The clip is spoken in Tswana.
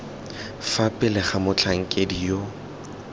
fa pele ga motlhankedi yo